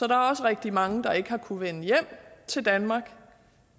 er også rigtig mange der ikke har kunnet vende hjem til danmark